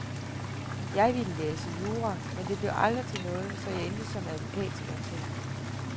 Jeg ville læse jura, men det blev aldrig til noget, så jeg endte som advokatsekretær.